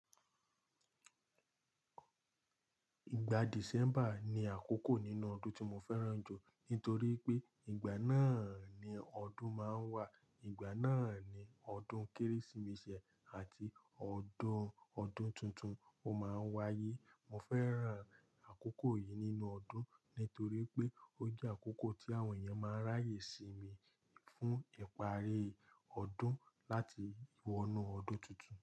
Ìgbà December ni àkókò nínú ọdún tí mo fẹ́ràn jù nítorí pé ìgbà náà ni ọdún máa ń wà. Ìgbà náà ni ọdún Kérésìmesì àti ọdún, ọdún tuntun ó máa ń wáyé. Mo fẹ́ràn àkókò yìí nínú ọdún nítorí pé ó jẹ́ àkókò tí àwọn èèyàn máa ń ráyè sí mi fún ìparí ọdún láti wọ inú ọdún tuntun.